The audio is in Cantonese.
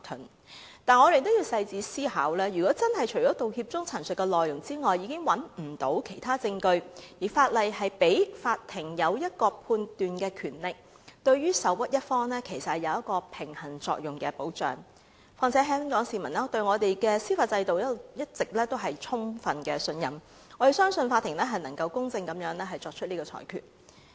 可是，我們也要仔細思考，如果真的除了道歉時陳述的內容外，已找不到其他證據，而法例賦予法庭作出判斷的權力，對於受屈一方其實有平衡作用的保障；況且香港市民一直充分信任我們的司法制度，我們相信法庭能夠作出公正的裁決。